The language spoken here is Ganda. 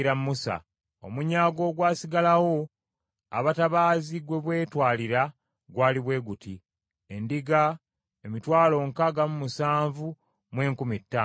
Omunyago ogwasigalawo abatabaazi gwe beetwalira gwali bwe guti: Endiga, emitwalo nkaaga mu musanvu mu enkumi ttaano (675,000).